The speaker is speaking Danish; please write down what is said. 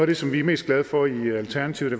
det som vi er mest glade for i alternativet